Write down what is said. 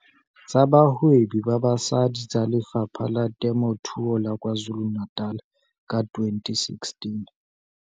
Tsa Bahwebi ba Basadi tsa Lefapha la Temothuo la KwaZulu-Natal ka 2016.